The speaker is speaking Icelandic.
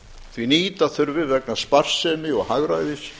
því að nýta þurfi vegna sparsemi og hagræðis